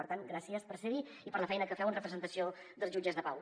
per tant gràcies per ser hi i per la feina que feu en representació dels jutges de pau